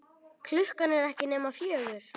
Klukkan er ekki nema fjögur.